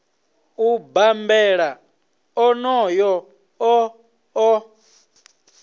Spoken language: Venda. u bambela onoyo o ḓo